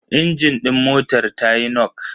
Injin din motar tayi nok.